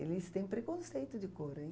Eles têm preconceito de cor, hein?